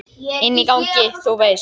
Inni á gangi, þú veist.